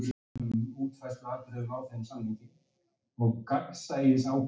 Kristján Már: Já, er kominn ungi?